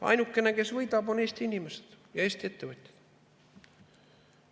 Ainukene, kes võidab, on Eesti inimesed ja Eesti ettevõtjad.